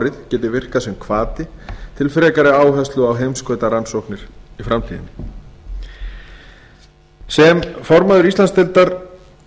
alþjóðaárið geti virkað sem hvati til frekari áherslu á heimskautarannsóknir í framtíðinni sem formaður íslandsdeildar